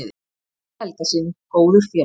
Kristjáni Helgasyni góður félagi.